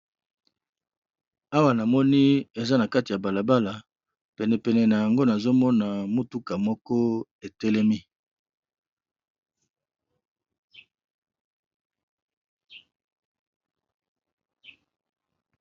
Awa na moni eza na kati ya balabala, pene pene n'ango nazo mona motuka moko e telemi .